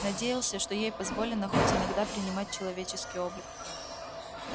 надеялся что ей позволено хоть иногда принимать человеческий облик